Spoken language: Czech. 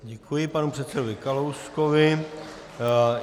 Děkuji panu předsedovi Kalouskovi.